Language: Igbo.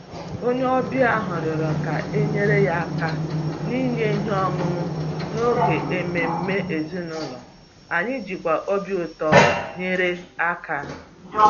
Onye ọbịa ahụ rịọrọ ka e nyere ya aka n’inye ihe ọṅụṅụ n’oge ememe ezinụlọ, anyị jikwa obi ụtọ nyere aka